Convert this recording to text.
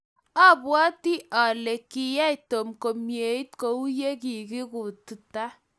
abwatii ale kiyay Tom komieit kou yee kiikukta.